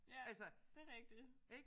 Ja det rigtigt